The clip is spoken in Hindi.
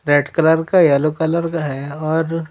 रेड कलर का येलो कलर का है और--